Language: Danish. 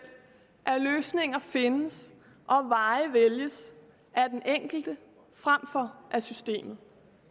at løsninger findes og veje vælges af den enkelte frem for af systemet